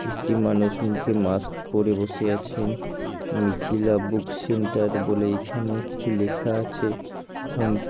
একটি মানুষ মুখে মাস্ক পরে বসে আছেন মিথিলা বুক সেন্টার বলে এইখানে কিছু লেখা আছে ফোন --